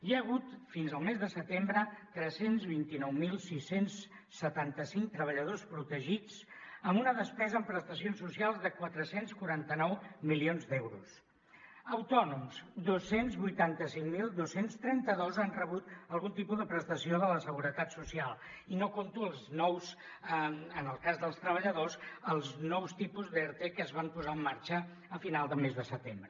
hi ha hagut fins al mes de setembre tres cents i vint nou mil sis cents i setanta cinc treballadors protegits amb una despesa en prestacions socials de quatre cents i quaranta nou milions d’euros autònoms dos cents i vuitanta cinc mil dos cents i trenta dos han rebut algun tipus de prestació de la seguretat social i no compto els nous en el cas dels treballadors els nous tipus d’erte que es van posar en marxa a final de mes de setembre